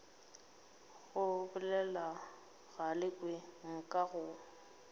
go bolela galekwe nka go